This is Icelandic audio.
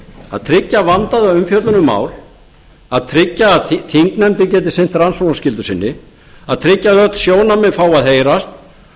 að tryggja vandaða umfjöllun um mál að tryggja að þingnefndir geti sinnt rannsóknarskyldu sinni að tryggja að öll sjónarmið fái að heyrast og